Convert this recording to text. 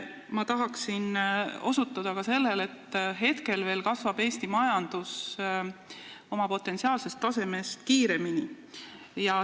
Ma tahaksin osutada ka sellele, et praegu veel kasvab Eesti majandus oma potentsiaalsest tasemest kiiremini.